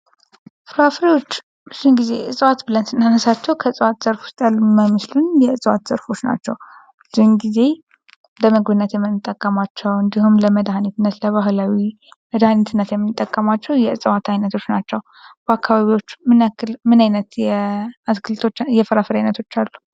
ፍራፍሬዎች ብዙን ጊዜ እፅዋት ብለን ስናነሳቸው ከእጸዋት ዘርፍ ውስጥ ያሉ የማይመስሉን የዕፅዋት ዘርፎች ናቸው። ብዙን ጊዜ ለበጎነት የምንጠቀማቸው እንዲሁም ፤ ለመድኃኒትነት ለባህላዊ መድሃኒትነት የምንጠቀማቸው የዕፀዋት ዓይነቶች ናቸው። በአካባቢያችሁ ምን ዓይነት የአትክልት የፍራፍሬውች ዓይነቶች አሉ?